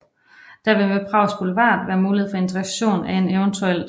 Der vil ved Prags Boulevard være mulighed for integration af en evt